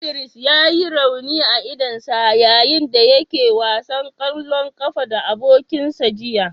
Idris ya yi rauni a idonsa yayin da yake wasan kwallon kafa da abokansa jiya.